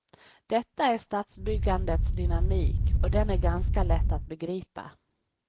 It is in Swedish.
Detta är stadsbyggandets dynamik, och den är ganska lätt att begripa.